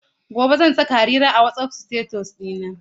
Gobe ​​zan saka Harira a WhatsApp status ɗina.